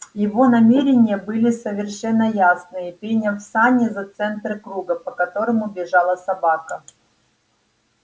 его намерения были совершенно ясные приняв сани за центр круга по которому бежала собака